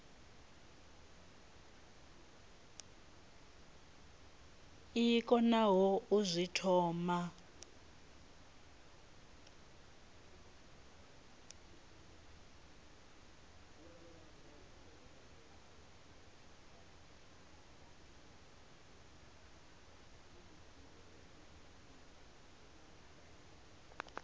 i konaho u zwi thoma